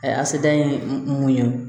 a seda ye mun ye